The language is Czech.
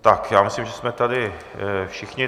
Tak já myslím, že jsme tady všichni.